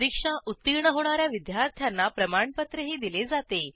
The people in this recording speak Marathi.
परीक्षा उत्तीर्ण होणा या विद्यार्थ्यांना प्रमाणपत्रही दिले जाते